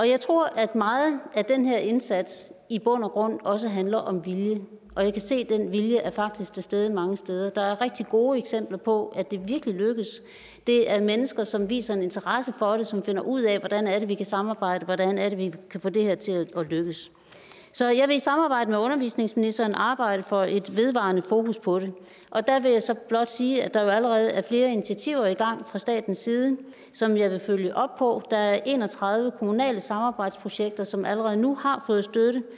jeg tror at meget af den her indsats i bund og grund også handler om vilje og jeg kan se at den vilje faktisk er til stede mange steder der er rigtig gode eksempler på at det virkelig lykkes det er mennesker som viser en interesse for det som finder ud af hvordan vi kan samarbejde hvordan vi kan få det her til at lykkes så jeg vil i samarbejde med undervisningsministeren arbejde for et vedvarende fokus på det og der vil jeg så blot sige at der jo allerede er flere initiativer i gang fra statens side som jeg vil følge op på der er en og tredive kommunale samarbejdsprojekter som allerede nu har fået